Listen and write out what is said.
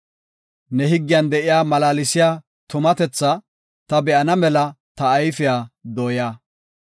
Ne higgiyan de7iya malaalsiya tumatethaa ta be7ana mela ta ayfiya dooya.